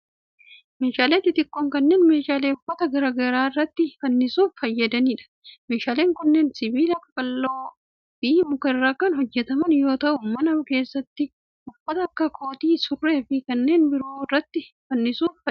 Meeshaaleen xixiqqoo kunneen meeshaalee uffata garaa garaa irratti fannisuuf fayyadanii dha. Meeshaaleen kunneen sibiila qaqalloo fi muka irraa kan hojjataman yoo ta'u, mana keessatti uffata akka kootii, surree fi kanneen biroo irratti fannisuuf fayyada.